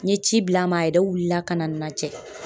N ye ci bil'a ma a yɛrɛ wulila ka na najɛ.